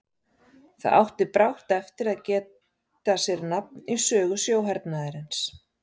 Það átti brátt eftir að geta sér nafn í sögu sjóhernaðarins.